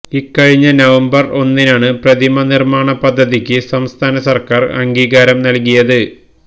ഇക്കഴിഞ്ഞ നവംബര് ഒന്നിനാണ് പ്രതിമ നിര്മ്മാണ് പദ്ധതിക്ക് സംസ്ഥാന സര്ക്കാര് അംഗീകാരം നല്കിയത്